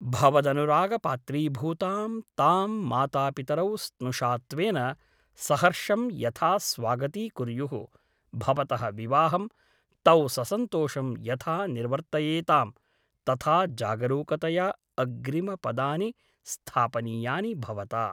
भवदनुरागपात्रीभूतां तां मातापितरौ स्नुषात्वेन सहर्षं यथा स्वागतीकुर्युः भवतः विवाहं तौ ससन्तोषं यथा निर्वर्तयेतां , तथा जागरूकतया अग्रिमपदानि स्थापनीयानि भवता ।